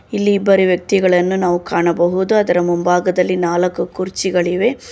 ಇಲ್ಲಿ ಇಬ್ಬರು ವ್ಯಕ್ತಿಗಳನ್ನು ನಾವು ಕಾಣಬಹುದು ಅದರ ಮುಂಬಾಗದಲ್ಲಿ ನಾಲಕು ಕುರ್ಚಿಗಳಿವೆ.